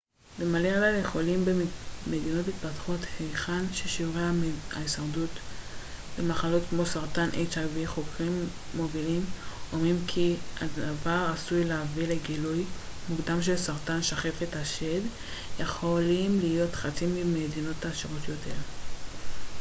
חוקרים מובילים אומרים כי הדבר עשוי להביא לגילוי מוקדם של סרטן שחפת hiv ומלריה לחולים במדינות מתפתחות היכן ששיעורי ההישרדות ממחלות כמו סרטן השד יכולים להיות חצי מבמדינות עשירות יותר